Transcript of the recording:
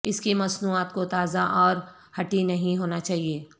اس کی مصنوعات کو تازہ اور ھٹی نہیں ہونا چاہئے